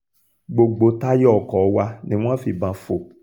gbogbo táyà ọkọ̀ wa ni wọ́n fìbọn fò